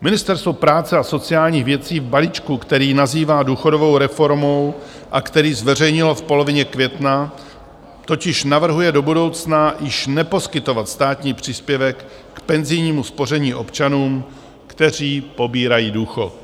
Ministerstvo práce a sociálních věcí v balíčku, který nazývá důchodovou reformou a který zveřejnilo v polovině května, totiž navrhuje do budoucna již neposkytovat státní příspěvek k penzijnímu spoření občanům, kteří pobírají důchod.